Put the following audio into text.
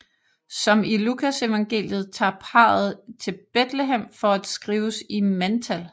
Som i Lukasevangeliet tager parret til Betlehem for at skrives i mandtal